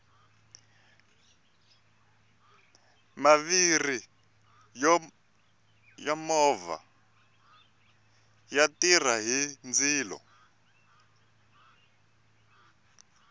maviri ya movha ya tirha hi ndzilo